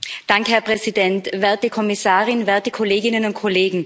Herr Präsident, werte Kommissarin, werte Kolleginnen und Kollegen!